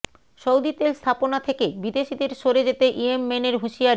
Saudi তেল স্থাপনা থেকে বিদেশিদের সরে যেতে ইয়েমেনের হুঁশিয়ারি